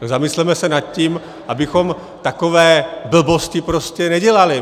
Tak zamysleme se nad tím, abychom takové blbosti prostě nedělali.